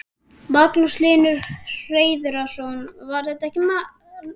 Magnús Hlynur Hreiðarsson: Var þetta ekkert mál?